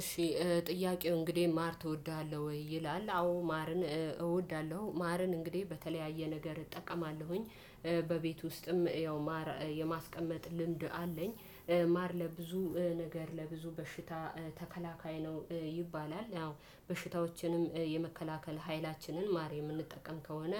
እሺ ጥያቄው እንግዲህ ማር ትወዳለህ ወይ? ይላል አዎ ማርን እወድሃለሁ ማርን እንግዲህ በተለያየ ነገር እጠቀማለሁኝ። በቤት ውስጥም ያው ማር የማስቀመጥ ልምድ አለኝ። ማር ለብዙ ነገር ለብዙ በሽታ ተከላካይ ነው ይባላል ያው በሽታዎችንም የመከላከል ሀይላችንን ማር የምንጠቀም ከሆነ